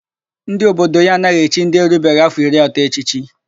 Ndị obodo ya anaghị echi ndị erubeghị áfọ̀ iri atọ echichi.